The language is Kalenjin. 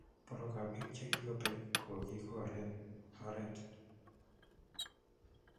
Porwek ap pik che kipek ko kokigor eng oret